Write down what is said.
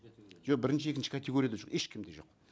жоқ бірінші екінші категорияда жоқ ешкімде жоқ